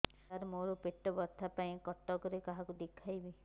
ସାର ମୋ ର ପେଟ ବ୍ୟଥା ପାଇଁ କଟକରେ କାହାକୁ ଦେଖେଇବି